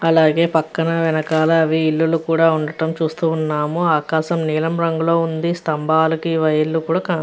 అలాగే పక్కన వెనకాల ఇల్లు కూడా ఉండటము చూస్తూ ఉన్నాము ఆకాశం నీలం రంగులు ఉంది స్తంభానికి వైర్లు కూడా కనప-- .>